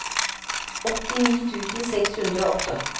åttini tusen seks hundre og åtte